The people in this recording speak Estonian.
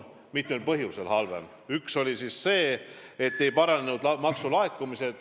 Üks põhjus on see, et maksulaekumised ei paranenud.